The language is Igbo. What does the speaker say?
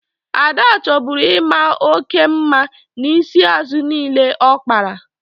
Ada chọburu ị maa oke mma n'isi azụ niile ya ọ kpara.